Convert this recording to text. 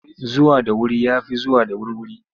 Zuwa da wuri ya fi zuwa da wurwuri.